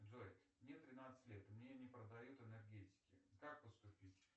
джой мне тринадцать лет и мне не продают энергетики как поступить